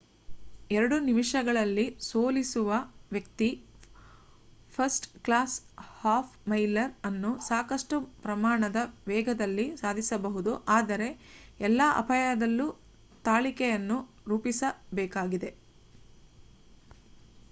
ಎರಡು ನಿಮಿಷಗಳಲ್ಲಿ ಸೋಲಿಸುವ ವ್ಯಕ್ತಿ ಫರ್ಸ್ಟ್ ಕ್ಲಾಸ್ ಹಾಫ್ ಮೈಲರ್ ಅನ್ನು ಸಾಕಷ್ಟು ಪ್ರಮಾಣದ ವೇಗದಲ್ಲಿ ಸಾಧಿಸಬಹುದು ಆದರೆ ಎಲ್ಲ ಅಪಾಯದಲ್ಲೂ ತಾಳಿಕೆಯನ್ನು ರೂಪಿಸಬೇಕಾಗಿದೆ